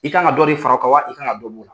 I ka kan ka dɔ de fara o kan wa, i ka kan don bɔ ola